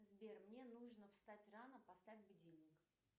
сбер мне нужно встать рано поставь будильник